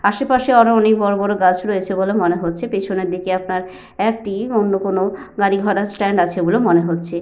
আশেপাশে আরো অনেক বড় বড় গাছ রয়েছে বলে মনে হচ্ছে। পেছনের দিকে আপনার একটি অন্য কোনো গাড়ি ঘোরার স্ট্যান্ড আছে বলে মনে হচ্ছে।